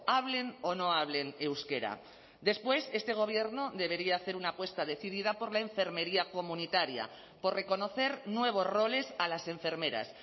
hablen o no hablen euskera después este gobierno debería hacer una apuesta decidida por la enfermería comunitaria por reconocer nuevos roles a las enfermeras